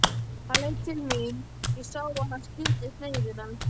Hann leit til mín, ég sá að hann skildi sneiðina.